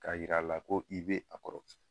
K'a yira a la ko i bɛ a kɔrɔ.